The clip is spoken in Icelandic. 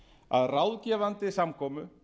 að ráðgefandi samkomu